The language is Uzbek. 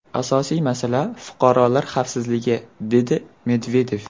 Asosiy masala fuqarolar xavfsizligi”, dedi Medvedev.